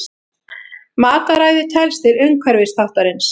Mataræði telst til umhverfisþáttarins.